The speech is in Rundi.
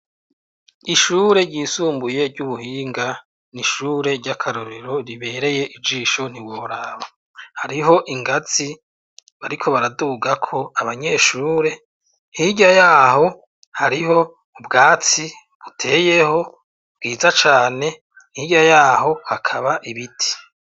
Ishure ryisumbuye, ry'ubuhinga, ni ishure ry'akarorero, ribereye ijisho, ntiworaba; hariho ingazi, bariko baradugako abanyeshure, hirya y'aho, hariho ubwatsi buteyeho, bwiza cane, hirya y'aho, hakaba ibiti.